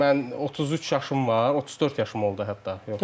Mən 33 yaşım var, 34 yaşım oldu hətta.